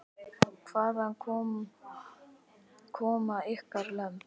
Magnús: Hvaðan koma ykkar lömb?